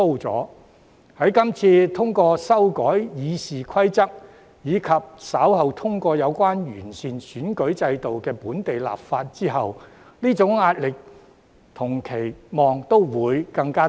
在這次通過修訂《議事規則》，以及稍後通過有關完善選舉制度的本地立法後，這種壓力和期望也會更大。